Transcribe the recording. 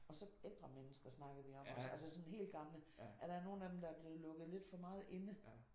Og så ældre mennesker snakkede vi om også altså sådan helt gamle. At der er nogle af dem der er blevet lukket lidt for meget inde